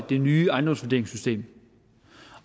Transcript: det nye ejendomsvurderingssystem